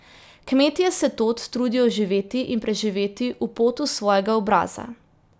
Kmetje se tod trudijo živeti in preživeti v potu svojega obraza.